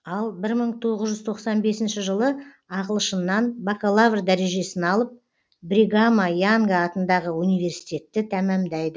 ал бір мың тоғыз жүз тоқсан бесінші жылы ағылшыннан бакалавр дәрежесін алып бригама янга атындағы университетті тәмәмдайды